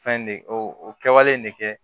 Fɛn de o o kɛwale nin ne kɛ